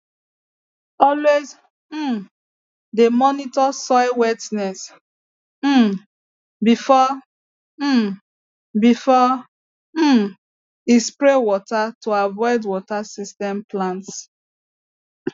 always um de monitor soil wetness um before um before um e spray water to avoid water system plants